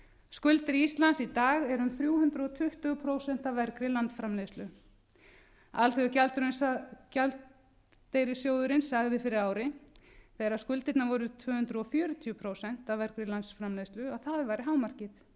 skuldir íslands í dag eru um þrjú hundruð tuttugu prósent af vergri landsframleiðslu alþjóðagjaldeyrissjóðurinn sagði fyrir ári þegar skuldirnar voru tvö hundruð fjörutíu prósent af vergri landsframleiðslu að það væri hámarkið